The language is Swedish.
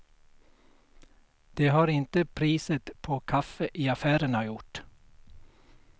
Det har inte priset på kaffe i affärerna gjort.